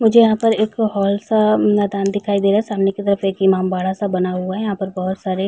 मुझे यहाँ पर एक होल सा मैंदान दिखाई दे रहा है। सामने की तरफ एक इमामबाड़ा सा बना हुआ है। यहाँ पर बोहोत सारे --